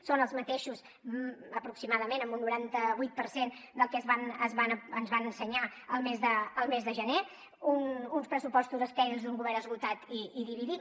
són els mateixos aproximadament en un noranta vuit per cent que els que ens van ensenyar el mes de gener uns pressupostos estèrils d’un govern esgotat i dividit